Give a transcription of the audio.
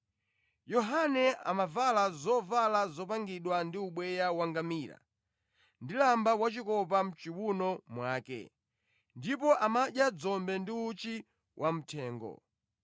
Yohane amavala zovala zopangidwa ndi ubweya wangamira, ndi lamba wachikopa mʼchiwuno mwake, ndipo amadya dzombe ndi uchi wamthengo.